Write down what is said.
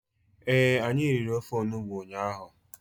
Ee, anyị riri ofe onugbu ụnyaahụ.